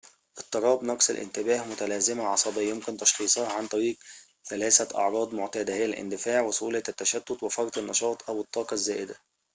اضطراب نقص الانتباه متلازمة عصبية يمكن تشخيصها عن طريق ثلاثة أعراض معتادة هي الاندفاع وسهولة التشتت وفرط النشاط أو الطاقة الزائدة